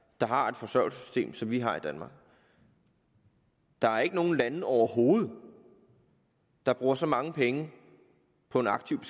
der har et forsørgelsessystem som vi har i danmark der er ikke nogen lande overhovedet der bruger så mange penge på en aktiv